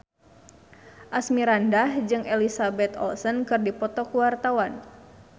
Asmirandah jeung Elizabeth Olsen keur dipoto ku wartawan